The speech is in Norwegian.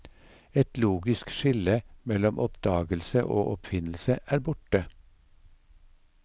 Et logisk skille mellom oppdagelse og oppfinnelse er borte.